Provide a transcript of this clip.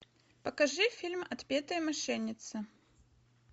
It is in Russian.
покажи фильм отпетые мошенницы